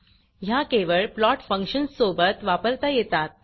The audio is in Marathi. ह्या केवळ प्लॉट फंक्शन सोबत वापरता येतात